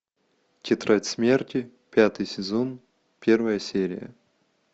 тетрадь смерти пятый сезон первая серия